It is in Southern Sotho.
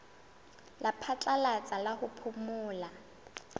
la phatlalatsa la ho phomola